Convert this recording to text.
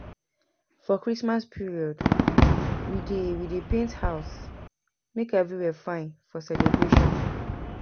For Christmas period, we dey we dey paint house make everywhere fine for celebration.